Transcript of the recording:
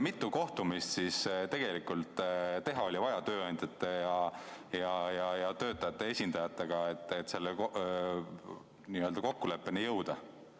Mitu kohtumist oli vaja tööandjate ja töötajate esindajatega teha, et selle kokkuleppeni jõuda?